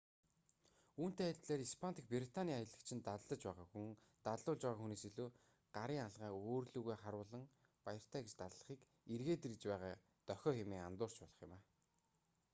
үүнтэй адилаар испани дахь британий аялагч нь даллаж байгаа хүн даллуулж байгаа хүнээс илүү гарын алгаа өөр лүүгээ харуулан баяртай гэж даллахыг эргээд ир гэж байгаа дохио хэмээн андуурч болох юм